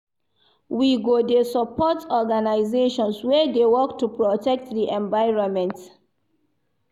We go dey support organisations wey dey work to protect di environment.